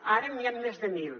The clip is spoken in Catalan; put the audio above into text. ara n’hi han més de mil